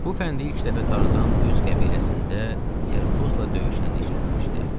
Bu fəndi ilk dəfə Tarzan öz qəbiləsində Terkozla döyüşəndə işlətmişdi.